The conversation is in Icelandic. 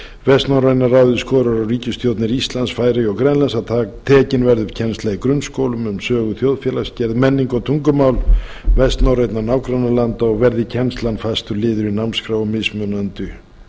vestnorræna ráðið skorar á ríkisstjórnir íslands færeyja og grænlands að tekin verði upp kennsla í grunnskólum um sögu þjóðfélagsgerðar menningu og tungumál vestnorrænna nágrannalanda og verði kennslan fastur liður í námskrá og